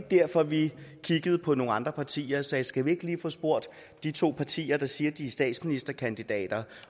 derfor vi kiggede på nogle andre partier og sagde skal vi ikke lige få spurgt de to partier der siger at de har statsministerkandidater